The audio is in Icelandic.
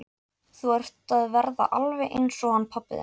Þú ert að verða alveg eins og hann pabbi þinn.